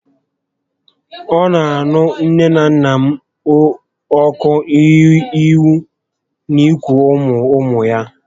Ọ nà aṅụ nné na nnà m ọkụ ịhụ na iku ụmụ ụmụ ha